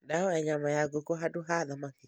Ndahoya nyama ya ngũkũ handũ ha thamaki